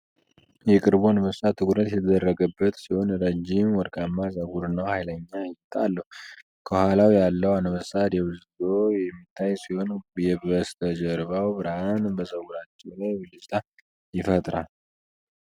የቅርቡ አንበሳ ትኩረት የተደረገበት ሲሆን፣ ረዥም ወርቃማ ፀጉር እና ኃይለኛ እይታ አለው። ከኋላው ያለው አንበሳ ደብዝዞ የሚታይ ሲሆን፣ የበስተጀርባው ብርሃን በፀጉራቸው ላይ ብልጭታ ይፈጥራል።